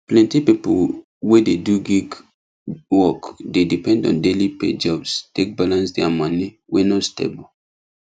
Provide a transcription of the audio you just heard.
plenty people wey dey do gig work dey depend on daily pay jobs take balance their money wey no stable